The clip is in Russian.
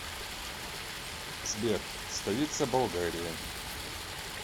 сбер столица болгария